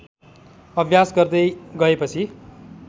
अभ्यास गर्दै गएपछि